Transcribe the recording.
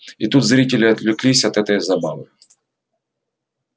и тут зрители отвлеклись от этой забавы